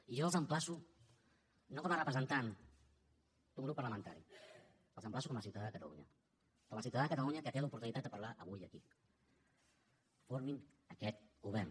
i jo els emplaço no com a representant d’un grup parlamentari els emplaço com a ciutadà de catalunya com a ciutadà de catalunya que té l’oportunitat de parlar avui aquí formin aquest govern